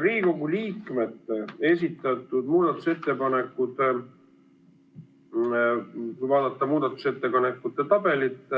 Riigikogu liikmete esitatud muudatusettepanekutest, kui vaadata muudatusettepanekute tabelit,